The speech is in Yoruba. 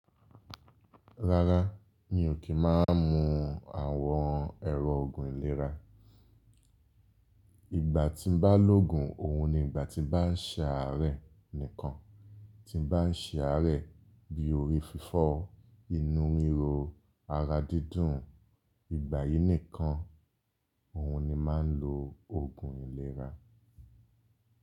Rárá, mi ò kí máa ń mu àwọn ẹ̀rọ ògùn ìlera. Ìgbà tí mo bá lògun, òhun ni ìgbà tí mo bá ń ṣe àárẹ̀ nìkan. Tí n bá ń ṣe àárẹ̀ bí i orí fífọ́, inú ríro, ara dídùn, ìgbà yìí nìkan òhun ni màá ń lo ògùn ìlera.